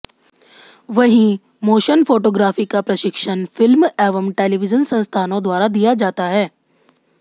वहीं motion photography का प्रशिक्षण फिल्म एवं टेलीविजन संस्थानों द्वारा दिया जाता है